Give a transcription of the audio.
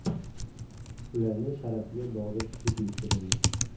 Ularning sharafiga bog‘da tushlik uyushtirildi.